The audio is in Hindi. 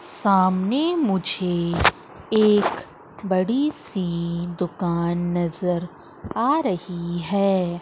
सामने मुझे एक बड़ी सी दुकान नजर आ रही है।